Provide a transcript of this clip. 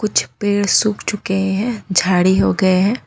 कुछ पेड़ सुख चुके हैं झाड़ी उगे हैं।